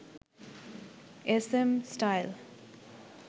SM style